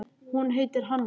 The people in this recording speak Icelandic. Hún heitir Hanna.